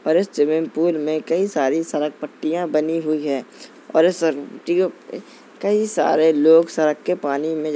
और इस swimming pool में कई सारे सरक पट्टियां बनी हुई हैं और इस सरक पट्टियों पे- कई सारे लोग सरक के पानी में --